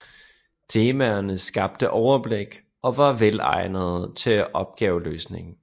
Temaerne skabte overblik og var velegnede til opgaveløsning